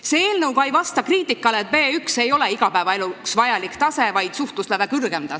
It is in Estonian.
See eelnõu ei vasta ka väitele, et B1 on igapäevaeluks vajalik tase – see on suhtlusläve kõrgem tase.